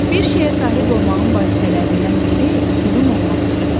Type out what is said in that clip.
Bir şeyə sahib olmağın vasitələrindən biri pulun olmasıdır.